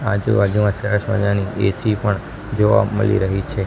આજુબાજુમાં સરસ મજાની એ_સી પણ જોવા મળી રહી છે.